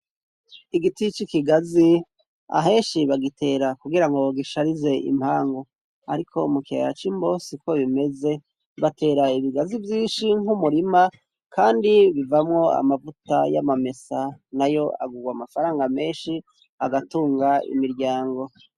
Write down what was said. Igiti c'ikigazi ahenshi bagitera kugirango gisharize impangu ariko mu kiyaya c'Imbo siko bimeze batera ibigazi vyinshi nk'umurima kandi bivamwo amavuta y'amamesa nayo agurwa amafaranga menshi agatunga imiryango.